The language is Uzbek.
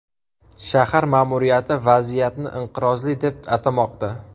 Shahar ma’muriyati vaziyatni inqirozli deb atamoqda.